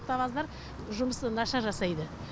автобаздар жұмысы нашар жасайды